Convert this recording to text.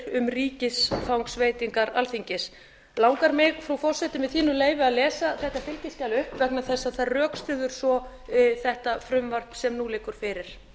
um ríkisfangsveitingar alþingis langar mig frú forseti með þínu leyfi að lesa þetta fylgiskjal upp vegna þess að það rökstyður svo þetta frumvarp sem nú liggur fyrir